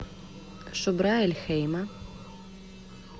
шубра эль хейма